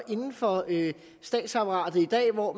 inden for statsapparatet i dag på